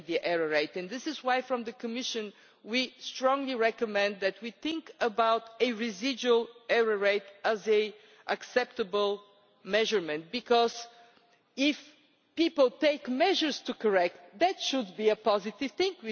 in the error rate, and this is why in the Commission we strongly recommend that we think about a residual error rate as an acceptable measurement, because if people take measures to correct, then that should be a positive